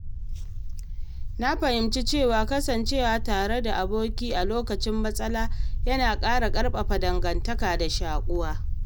Na fahimci cewa kasancewa tare da aboki a lokacin matsala yana ƙara ƙarfafa dangantaka da shaƙuwa.